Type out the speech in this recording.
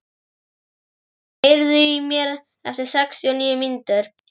Hedí, heyrðu í mér eftir sextíu og níu mínútur.